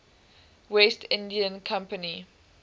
west india company